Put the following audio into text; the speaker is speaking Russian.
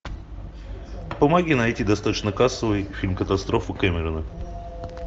помоги найти достаточно кассовый фильм катастрофу кэмерона